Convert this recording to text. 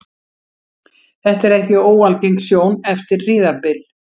Þetta er ekki óalgeng sjón eftir hríðarbyl.